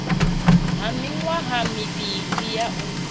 ha miṅwaha mivhili ya u